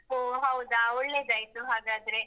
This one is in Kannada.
ಹೊ ಹೌದಾ ಒಳ್ಳೆದಾಯ್ತು ಹಾಗಾದ್ರೆ.